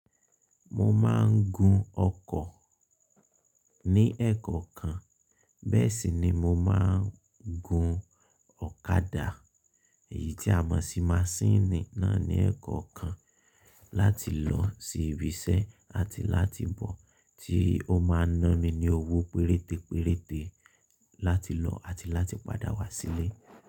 Mo máa ń gun ọkọ̀ ní ẹ̀kọ̀ kan, bẹ́ẹ̀ sì ni mo máa ń gun ọ̀kadà èyí tí a mọ̀ sí masínìì náà ní ẹ̀kọ̀ kan láti lọ sí ibi iṣẹ́ àti láti bọ̀ tí ó máa ń ná mi ní owó péréte péréte láti lọ àti láti padà wá sílé.